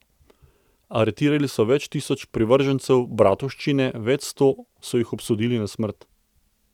Aretirali so več tisoč privržencev bratovščine, več sto so jih obsodili na smrt.